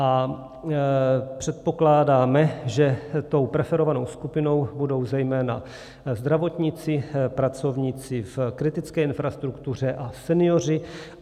A předpokládáme, že tou preferovanou skupinou budou zejména zdravotníci, pracovníci v kritické infrastruktuře a senioři.